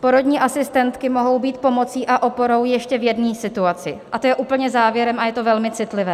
Porodní asistentky mohou být pomocí a oporou ještě v jedné situaci, a to je úplně závěrem a je to velmi citlivé.